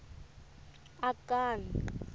akani